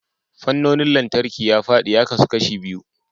Fannonin lantarki ya fadi ya kasu kashi biyu.